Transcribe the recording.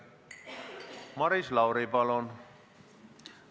Maris Lauri, palun!